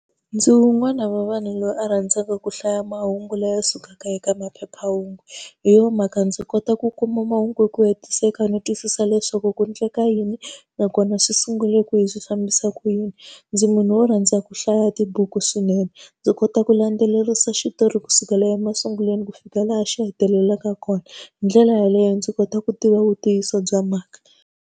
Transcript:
Ndzi wun'wana wa vanhu loyi a rhandzaka ku hlaya mahungu lawa ya sukaka eka maphephahungu, hi yona mhaka ndzi kota ku kuma mahungu hi ku hetiseka no twisisa leswaku ku endleka yini nakona swi sungule kwihi, swi fambisa ku yini. Ndzi munhu wo rhandza ku hlaya tibuku swinene, ndzi kota ku landzelerisa xitori kusukela emasungulweni ku fika laha xi hetelelaka kona. Hi ndlela yaleyo ndzi kota ku tiva vu ntiyiso bya mhaka.